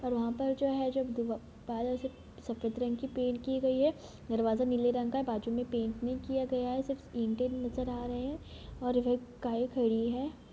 और वहां पर जो जो है बा-बादल स-सफ़ेद रंग की पेन्ट की गयी है। दरवाजा नीले रंग का है बाजु में पेन्ट नहीं किया गया है सिर्फ ईंटे नजर आ रहे है और वे एक गाय खड़ी है।